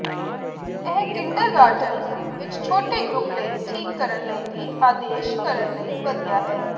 ਇਹ ਕਿੰਡਰਗਾਰਟਨ ਵਿੱਚ ਛੋਟੇ ਗਰੁੱਪ ਲਈ ਠੀਕ ਕਰਨ ਲਈ ਵੀ ਆਦੇਸ਼ ਕਰਨ ਲਈ ਵਧੀਆ ਹੈ